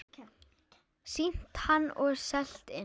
Sýnt hann og selt inn.